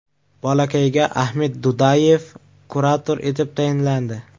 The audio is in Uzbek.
Bolakayga Ahmed Dudayev kurator etib tayinlandi.